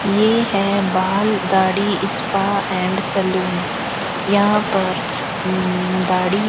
ये है बाल दाढ़ी स्पा एंड सलून यहां पर उ दाढ़ी --